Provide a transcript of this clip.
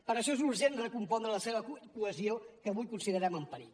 per això és urgent recompondre la seva cohesió que avui considerem en perill